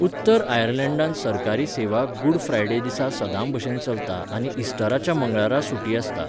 उत्तर आयर्लंडात सरकारी सेवा गुड फ्रायडे दिसा सदांभशेन चलता आनी इस्टराच्या मंगळारा सुटी आसता.